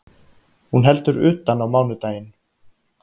Hún heldur utan á mánudaginn